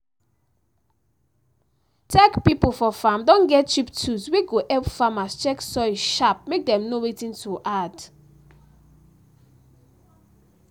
tech pipo for farm don get cheap tools wey go help farmers check soil sharp mek dem know wetin to add.